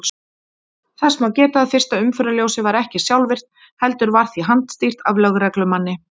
Þess má geta að fyrsta umferðarljósið var ekki sjálfvirkt heldur var því handstýrt af lögreglumanni.